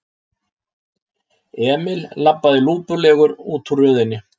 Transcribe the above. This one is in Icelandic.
Emil labbaði lúpulegur útúr röðinni.